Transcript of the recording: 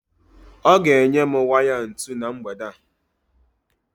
Ọ ga-enye m waya ntu na mgbede a